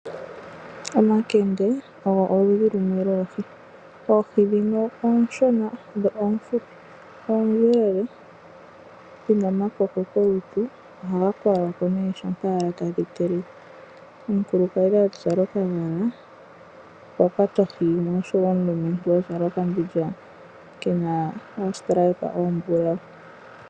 Omakende ogo oludhi lumwe loohi. Oohi dhino ooshona dho oofupi, dho oondjelele dhi na omakoko kolutu. Ohaga kweywa ko nee shampa tadhi telekwa. Omukulukadhi a zala okagala okwa kwata ohi yimwe oshowo omulumentu a zala okambindja kena oondjila oombulawu.